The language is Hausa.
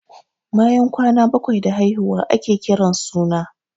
Bayan kwana bakwai da haihuwa ake kiran suna.